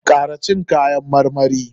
Kara cin kayan marmari!